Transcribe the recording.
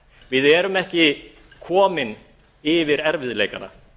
við erum ekki komin yfir erfiðleikana